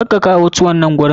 Kar ka kawo tuwo nan gurin!